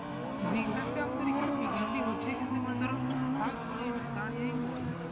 big hand এ আমাদের এখানে big hand ই হচ্ছে কিন্তু ধরো হাত ঘুরিয়ে না দাঁড়িয়েই বল